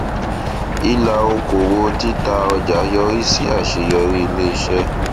ìlà okòwò títà ọjà yọrí sí àṣeyọrí iléiṣẹ